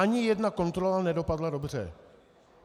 Ani jedna kontrola nedopadla dobře.